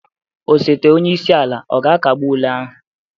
Osote onye isi ala ọ ga-akagbu ule ahụ?